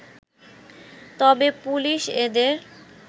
তবে পুলিশ এদের